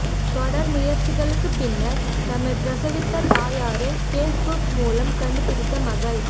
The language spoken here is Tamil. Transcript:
தொடர் முயற்சிகளுக்கு பின்னர் தம்மை பிரசவித்த தாயாரை பேஸ்புக் மூலம் கண்டுபிடித்த மகள்